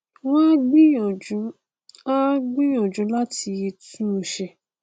wọn á gbìyànjú á gbìyànjú láti tún un ṣe